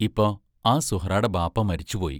ഇപ്പ ആ സുഹ്റാടെ ബാപ്പാ മരിച്ചു പോയി.